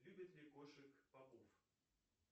любит ли кошек попов